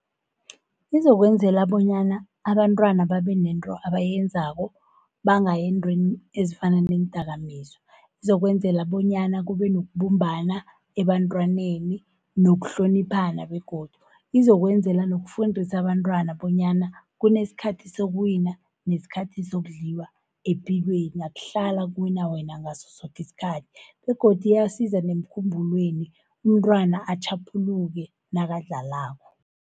Kuzokwenzela bonyana abantwana babenento abayenzako, bangayi ezintweni ezifana neendakamizwa. Izokwenzela bonyana kube nokubumbana ebantwaneni, nokuhloniphana begodu. Izokwenzela nokufundisa abantwana bonyana kunesikhathi sokuwina, nesikhathi sokudliwa epilweni akuhlali kuwina wena ngaso soke isikhathi, begodu iyasiza nemkhumbulweni umntwana atjhaphuluke nakadlalako.